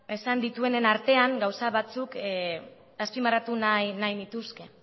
esan dituenen artean gauza batzuk azpimarratu nahi nituzke